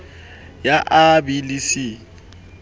ya a b le c